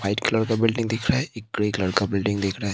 White colour का building दिख रहा है एक ग्रे कलर का बिल्डिंग दिख रहा है।